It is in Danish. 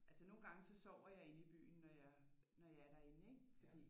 Altså nogle gange så sover jeg inde i byen når jeg når jeg er derinde ikke fordi